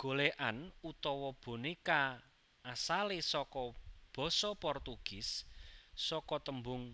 Golèkan utawa bonéka asalé saka basa Portugis saka tembung